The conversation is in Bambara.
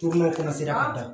a da